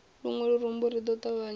luṅwe lurumbu ri ḓo ṱavhanyedza